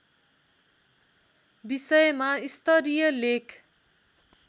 विषयमा स्तरीय लेख